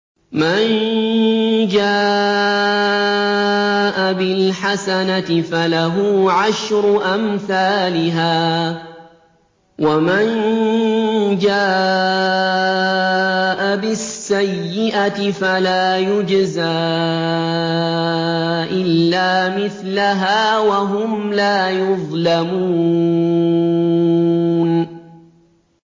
مَن جَاءَ بِالْحَسَنَةِ فَلَهُ عَشْرُ أَمْثَالِهَا ۖ وَمَن جَاءَ بِالسَّيِّئَةِ فَلَا يُجْزَىٰ إِلَّا مِثْلَهَا وَهُمْ لَا يُظْلَمُونَ